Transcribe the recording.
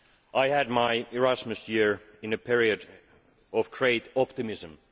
I had my Erasmus year in a period of great optimism.